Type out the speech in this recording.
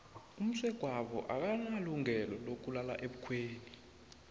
umsegwabo akanalungelo lokulala ebukhweni